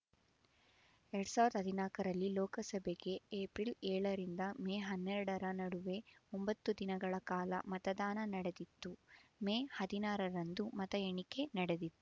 ಎರಡ್ ಸಾವಿರದ ಹದಿನಾಕ ರಲ್ಲಿ ಲೋಕಸಭೆಗೆ ಏಪ್ರಿಲ್ ಏಳರಿಂದ ಮೇ ಹನ್ನೆರಡರ ನಡುವೆ ಒಂಬತ್ತು ದಿನಗಳ ಕಾಲ ಮತದಾನ ನಡೆದಿತ್ತು ಮೇ ಹದಿನಾರರಂದು ಮತ ಎಣಿಕೆ ನಡೆದಿತ್ತು